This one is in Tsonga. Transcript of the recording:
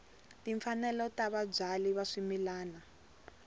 timfanelo ta vabyali va swimila